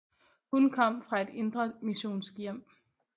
Hum kom fra et indremissionsk hjem